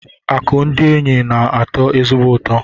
Akụ ndị enyi na-atọ ezigbote ọchị.